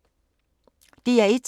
DR1